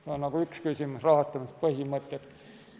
See on nagu üks küsimus, rahastamispõhimõtted.